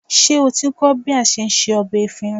Ṣé o ti ń kọ́ bí a se ọbẹ efinrin?